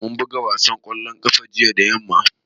Mun buga wasan ƙwallon ƙafa jiya da yamma